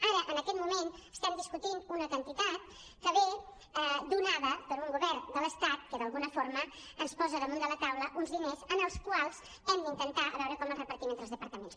ara en aquest moment estem discutint una quantitat que ve donada per un govern de l’es·tat que d’alguna forma ens posa damunt de la taula uns diners que hem d’intentar a veure com els repartim entre els departaments